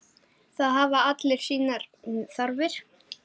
Það hafa allir sínar þarfir.